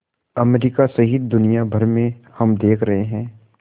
America सहित दुनिया भर में हम देख रहे हैं